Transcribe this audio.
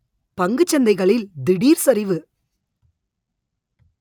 பங்கு சந்தைகளில் திடீர் சரிவு